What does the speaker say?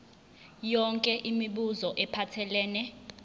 yonke imibuzo ephathelene